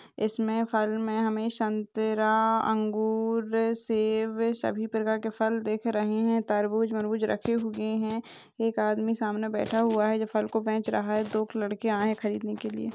इसमे फल मे हमे संतरा अंगूर शेव सबी प्रकार के फल देख रहे है तरबूज मरबूज रखे हुए है एक आदमी सामने बैठा हुआ है जो फल को बेच रहा है दो एक लड़के आए है खरीदने के लिए --